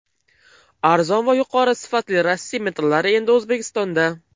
Arzon va yuqori sifatli Rossiya metallari endi O‘zbekistonda!.